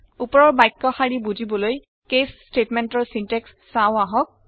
ওপৰৰ বাক্য শাৰী বুজিবলৈ কেচ statementৰ চিনটেক্স চাওঁ আহক